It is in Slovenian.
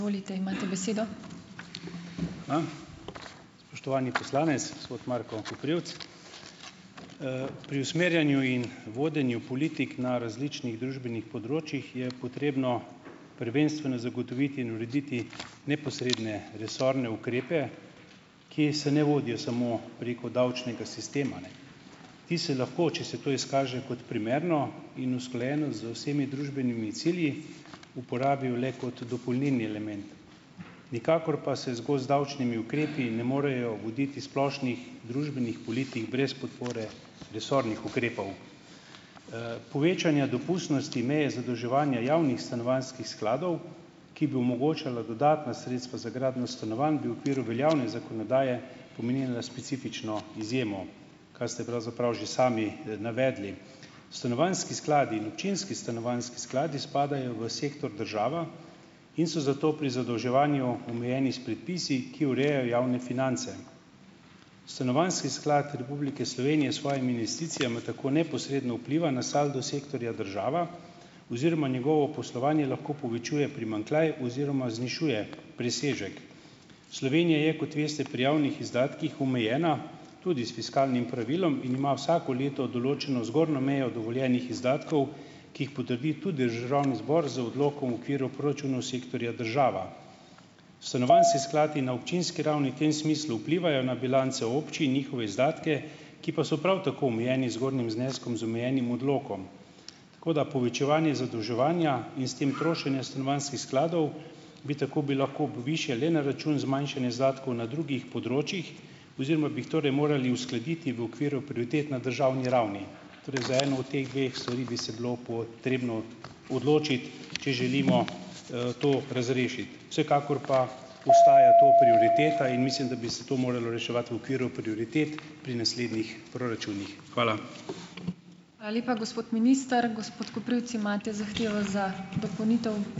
Spoštovani poslanec, gospod Marko Koprivc! Pri usmerjanju in vodenju politik na različnih družbenih področjih je potrebno prvenstveno zagotoviti in urediti neposredne resorne ukrepe, ki se ne vodijo samo preko davčnega sistema, ne. Ti se lahko, če se to izkaže kot primerno in usklajeno z vsemi družbenimi cilji, uporabijo le kot dopolnilni element, nikakor pa se zgolj z davčnimi ukrepi ne morejo voditi splošnih družbenih politik brez podpore resornih ukrepov. Povečanja dopustnosti meje zadolževanja javnih stanovanjskih skladov, ki bi omogočalo dodatna sredstva za gradnjo stanovanj, bi v okviru veljavne zakonodaje pomenila specifično izjemo, kar ste pravzaprav že sami navedli. Stanovanjski skladi in občinski stanovanjski skladi spadajo v sektor država in so zato pri zadolževanju omejeni s predpisi, ki urejajo javne finance. Stanovanjski sklad Republike Slovenije s svojimi investicijami tako neposredno vpliva na saldo sektorja država oziroma njegovo poslovanje lahko povečuje primanjkljaj oziroma znižuje presežek. Slovenija je, kot veste, pri javnih izdatkih omejena tudi s fiskalnim pravilom in ima vsako leto določeno zgornjo mejo dovoljenih izdatkov, ki jih potrdi tudi državni zbor z odlokom v okviru proračunov sektorja država. Stanovanjski skladi na občinski ravni tem smislu vplivajo na bilance občin, njihove izdatke, ki pa so prav tako omejeni zgornjim zneskom, z omejenim odlokom. Tako da povečevanje zadolževanja in s tem trošenja stanovanjskih skladov bi tako bi lahko višje le na račun zmanjšanja izdatkov na drugih področjih oziroma bi jih torej morali uskladiti v okviru prioritet na državni ravni, torej za eno od teh dveh stvari bi se bilo potrebno odločiti, če želimo, to razrešiti. Vsekakor pa ostaja to prioriteta in mislim, da bi se to moralo reševati v okviru prioritet pri naslednjih proračunih. Hvala.